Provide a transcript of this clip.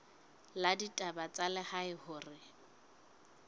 la ditaba tsa lehae hore